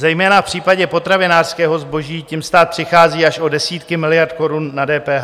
Zejména v případě potravinářského zboží tím stát přichází až o desítky miliard korun na DPH.